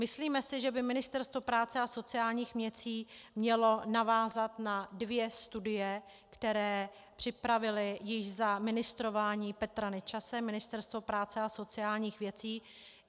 Myslíme si, že by Ministerstvo práce a sociálních věcí mělo navázat na dvě studie, které připravilo již za ministrování Petra Nečase Ministerstvo práce a sociálních věcí.